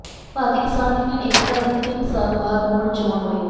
ਭਾਰਤੀ Kisan Union Ekta ਦੀ ਤਿੰਨ ਸਾਲ ਬਾਅਦ ਮੁੜ ਚੋਣ ਹੋਈ